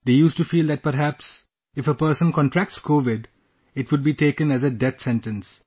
They used to feel that perhaps, if a person contracts Covid, it would be taken as a Death Sentence